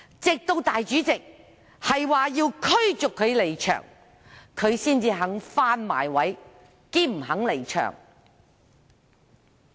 直至主席表示要驅逐他離場，他才願意返回座位，且不願離場。